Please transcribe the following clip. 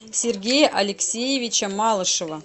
сергея алексеевича малышева